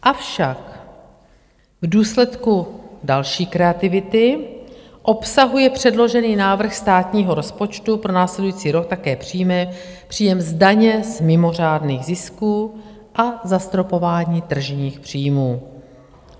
Avšak v důsledku další kreativity obsahuje předložený návrh státního rozpočtu pro následující rok také příjmy - příjem daně z mimořádných zisků a zastropování tržních příjmů.